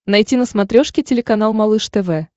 найти на смотрешке телеканал малыш тв